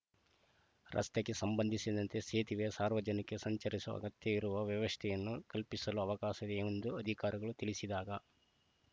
ರಸ್ತೆಗೆ ಸಂಬಂಧಿಸಿದಂತೆ ಸೇತುವೆ ಸಾರ್ವಜನಿಕ ಸಂಚರಿಸಲು ಅಗತ್ಯವಿರುವ ವ್ಯವಸ್ಥೆಯನ್ನು ಕಲ್ಪಿಸಲು ಅವಕಾಶ ಇದೆ ಎಂದು ಅಧಿಕಾರಿಗಳು ತಿಳಿಸಿದಾಗ